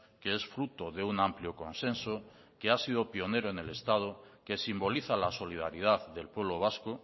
que es fruto de un amplio consenso que ha sido pionero en el estado que simboliza la solidaridad del pueblo vasco